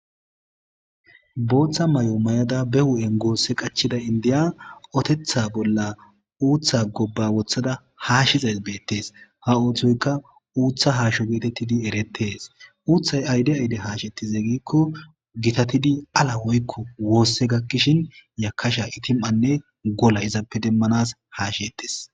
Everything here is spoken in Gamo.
Booththa may7o may7ada be hu7en goosse qachida indiya otetha bolla uuththa gobba wothada haashizays beettees ha ooththoyka uutha haasho geetettidi erettees uuthay ayde ayde haasheti zeegikko gitatidi ala woykko woosse gakkishin yakasha itim7anne gola izappe demmanas haashettes.